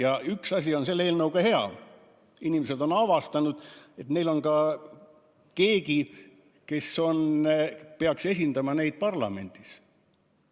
Ent üks asi on selle eelnõu puhul hea: inimesed on avastanud, et neil on ka keegi, kes peaks neid parlamendis esindama.